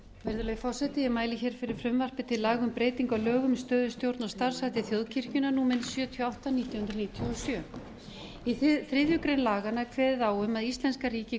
virðulegi forseti ég mæli fyrir frumvarpi til laga um breytingu á lögum um stöðu stjórn og starfshætti þjóðkirkjunnar númer sjötíu og átta nítján hundruð níutíu og sjö í þriðju grein laganna er kveðið á um að íslenska ríkið